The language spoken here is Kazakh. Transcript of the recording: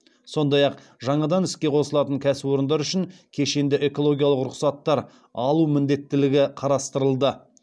сондай ақ жаңадан іске қосылатын кәсіпорындар үшін кешенді экологиялық рұқсаттар алу міндеттілігі қарастырылды